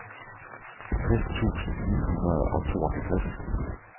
tres tusind ni hundrede og tooghalvtreds